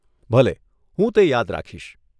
ભલે, હું તે યાદ રાખીશ.